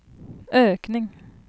ökning